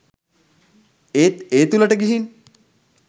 ඒත් ඒ තුලට ගිහින්